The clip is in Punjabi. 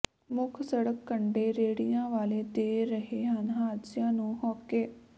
ਮੁੱਖ ਸੜਕ ਕੰਢੇ ਰੇਹੜੀਆਂ ਵਾਲੇ ਦੇ ਰਹੇ ਹਨ ਹਾਦਸਿਆਂ ਨੂੰ ਹੋਕੇ